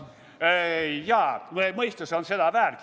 Jaa, mõistus on seda väärt.